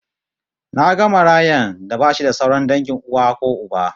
Naga marayan da bashi da sauran dangin uwa ko uba